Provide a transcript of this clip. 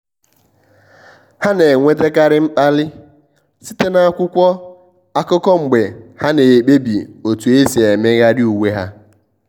há nà-ènwétákàrị́ mkpàlị́ site na ákwụ́kwọ́ ákụ́kọ́ mgbe há nà-èkpebi otu ésí émégharị uwe há.